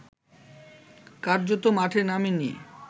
কার্যত মাঠে নামেনি